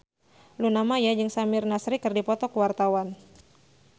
Luna Maya jeung Samir Nasri keur dipoto ku wartawan